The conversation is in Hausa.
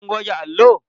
Kun goge allo?